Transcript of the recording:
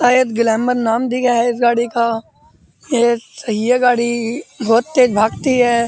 शायद ग्लैमर नाम दिया है इस गाड़ी का ये सही है गाड़ी बोहोत तेज भागती है।